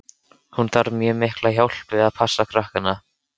Hún þarf mjög mikla hjálp við að passa krakkana.